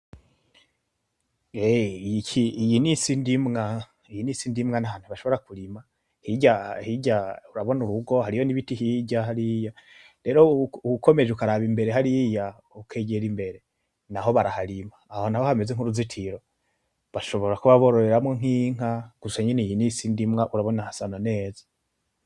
Eh iki iyi ni isindimwa ni ahantu bashobora kurima, hirya hirya urabona urugu, hariyo n'ibiti hirya hariya, rero ukomeje ukaraba imbere hariya ukegera imbere naho baraharima. Aho naho hameze nk'uruzitiro bashobora kuba bororeramwo nk'inka, gusa nyene urabona iyi ni isindimwa urabona hasa na neza.